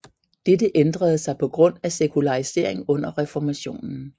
Dette ændrede sig på grund af sekularisering under reformationen